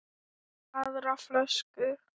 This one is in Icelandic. Aðra flösku?